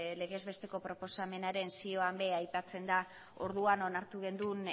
legez besteko proposamenaren zioan ere aipatzen da orduan onartu genuen